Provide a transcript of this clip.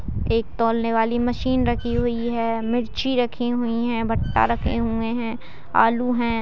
एक तोलने वाली मशीन रखी हुई है मिर्ची रखी हुई है भट्टा रखे हुए हैं आलू है।